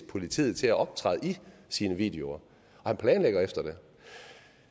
politiet til at optræde i sine videoer han planlægger efter det